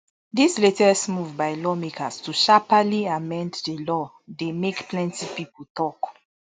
dis latest move by lawmakers to sharpaly amend di law dey make plenty pipo tok